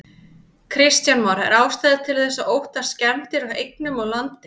Kristján Már: Er ástæða til þess að óttast skemmdir á eignum og landi?